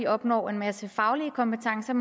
opnår en masse faglige kompetencer